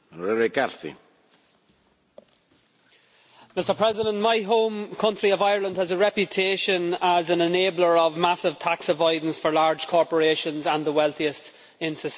Mr President, my home country of Ireland has a reputation as an enabler of massive tax avoidance for large corporations and the wealthiest in society, and unfortunately the perception is true.